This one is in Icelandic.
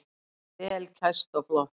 Vel kæst og flott.